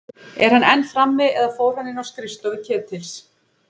Er hann enn frammi- eða fór hann inn á skrifstofu Ketils?